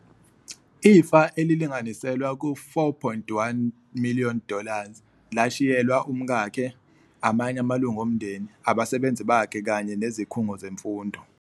Ifa elilinganiselwa ku 4.1 miliyoni dollars, lashiyelwa umkakhe, amanye amalunga omndeni, abasebenzi bakhe, kanye nezikhungo zemfundo.